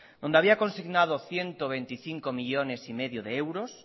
donde había consignado ciento veinticinco coma cinco millónes de euros